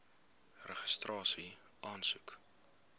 registrasieaansoek